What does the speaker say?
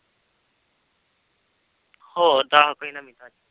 ਹੋਰ ਦੱਸ ਕੋਈ ਨਵੀਂ ਤਾਜ਼ੀ।